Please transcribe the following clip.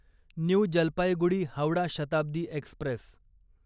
new Jalpaiguri Howrah Shatabdi Express